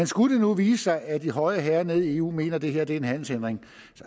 skulle vise sig at de høje herrer nede i eu mener at det her en handelshindring